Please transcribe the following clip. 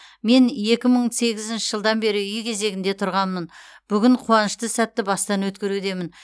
мен екі мың сегізінші жылдан бері үй кезегінде тұрғанмын бүгін қуанышты сәтті бастан өткерудемін